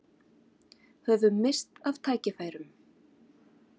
Höfum misst af tækifærum